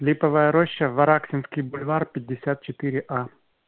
липовая роща вараксинский бульвар пятьдесят четыре а